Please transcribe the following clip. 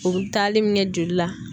U bɛ taali min kɛ joli la.